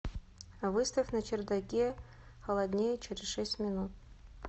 выставь на чердаке холоднее через шесть минут